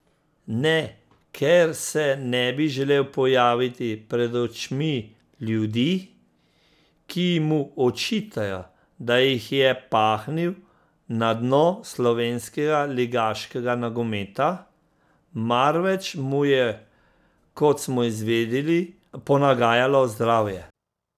Ne, ker se ne bi želel pojaviti pred očmi ljudi, ki mu očitajo, da jih je pahnil na dno slovenskega ligaškega nogometa, marveč mu je, kot smo izvedeli, ponagajalo zdravje.